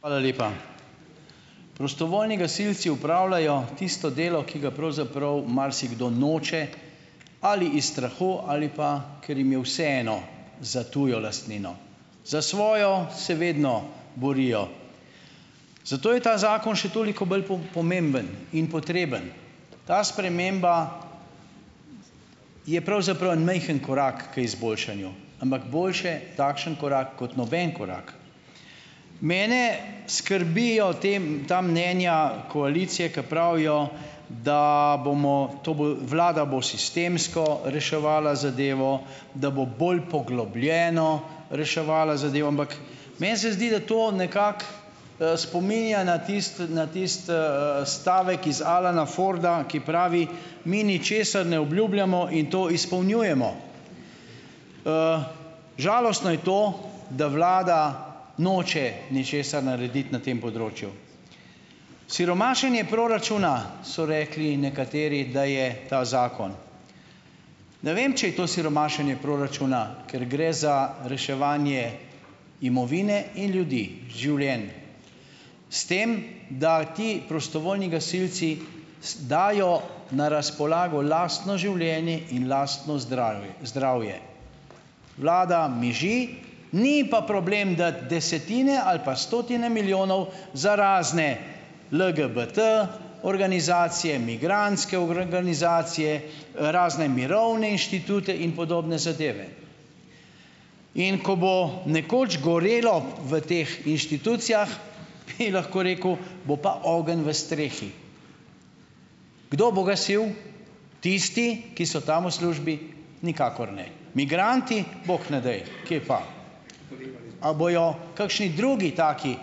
Hvala lepa. Prostovoljni gasilci opravljajo tisto delo, ki ga pravzaprav marsikdo noče - ali iz strahu ali pa, ker jim je vseeno. Za tujo lastnino. Za svojo se vedno borijo. Zato je ta zakon še toliko bolj pomemben. In potreben. Ta sprememba je pravzaprav en majhen korak k izboljšanju. Ampak boljše takšen korak kot noben korak. Mene skrbijo te ta mnenja koalicije, ki pravijo, da bomo - to bo - vlada bo sistemsko reševala zadevo, da bo bolj poglobljeno reševala zadevo. Ampak meni se zdi, da to nekako, spominja na tisto na tisti, stavek iz Alana Forda, ki pravi: "Mi ničesar ne obljubljamo in to izpolnjujemo." Žalostno je to, da vlada noče ničesar narediti na tem področju. Siromašenje proračuna - so rekli nekateri, da je ta zakon. Ne vem, če je to siromašenje proračuna. Ker gre za reševanje imovine in ljudi. Življenj. S tem, da ti prostovoljni gasilci dajo na razpolago lastno življenje in lastno zdrave zdravje. Vlada miži. Ni ji pa problem dati desetine ali pa stotine milijonov za razne LGBT-organizacije, migrantske organizacije, razne mirovne inštitute in podobne zadeve. In ko bo nekoč gorelo v teh inštitucijah, bi lahko rekel, - bo pa ogenj v strehi. Kdo bo gasil? Tisti, ki so tam v službi, nikakor ne. Migranti - bog ne daj, kje pa. A bojo kakšni drugi taki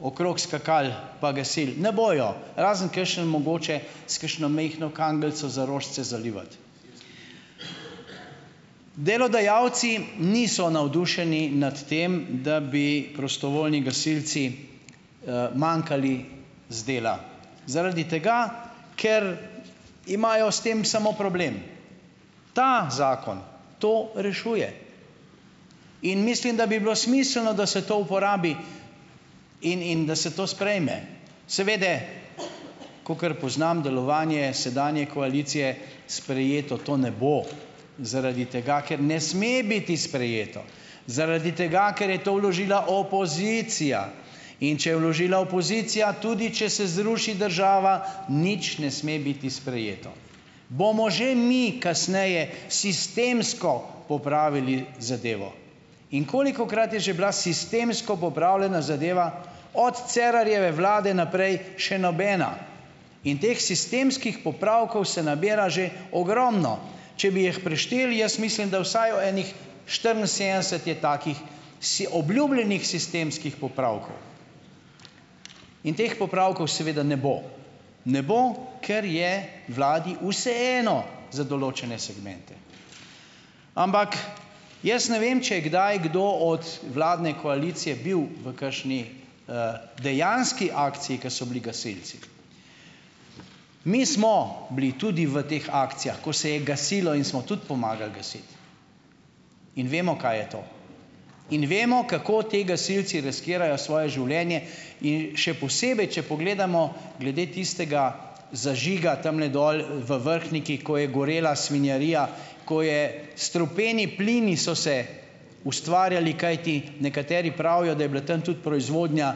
okrog skakali pa gasili? Ne bojo. Razen kakšen mogoče s kakšno majhno kanglico za rožice zalivati. Delodajalci niso navdušeni nad tem, da bi prostovoljni gasilci, manjkali z dela. Zaradi tega, ker imajo s tem samo problem. Ta zakon to rešuje. In mislim, da bi bilo smiselno, da se to uporabi - in in da se to sprejme. Seveda kakor poznam delovanje sedanje koalicije - sprejeto to ne bo. Zaradi tega, ker ne sme biti sprejeto. Zaradi tega, ker je to vložila opozicija. In če je vložila opozicija, tudi če se zruši država, nič ne sme biti sprejeto. "Bomo že mi kasneje sistemsko popravili zadevo." In kolikokrat je že bila sistemsko popravljena zadeva? Od Cerarjeve vlade naprej še nobena. In teh sistemskih popravkov se nabira že ogromno. Če bi jih prešteli, jaz mislim, da vsaj o enih štiriinsedemdeset je takih obljubljenih sistemskih popravkov. In teh popravkov seveda ne bo, ne bo, ker je vladi vseeno za določene segmente. Ampak jaz ne vem, če je kdaj kdo od vladne koalicije bil v kakšni, dejanski akciji, ki so bili gasilci. Mi smo bili tudi v teh akcijah, ko se je gasilo, in smo tudi pomagali gasiti in vemo, kaj je to, in vemo, kako ti gasilci riskirajo svoje življenje, in še posebej, če pogledamo glede tistega zažiga tamle dol, v Vrhniki, ko je gorela svinjarija, ko je strupeni plini so se ustvarjali, kajti nekateri pravijo, da je bila tam tudi proizvodnja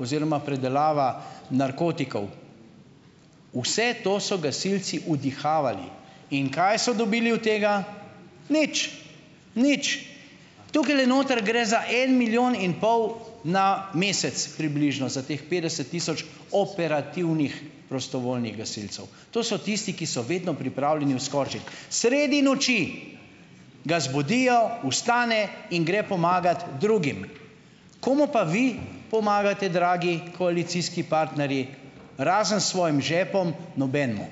oziroma predelava narkotikov. Vse to so gasilci vdihavali. In kaj so dobili od tega? Nič. Nič. Tukajle noter gre za en milijon in pol na mesec približno za teh petdeset tisoč operativnih prostovoljnih gasilcev. To so tisti, ki so vedno pripravljeni vskočiti, sredi noči ga zbudijo, vstane in gre pomagat drugim. Komu pa vi pomagate, dragi koalicijski partnerji? Razen svojim žepom nobenemu.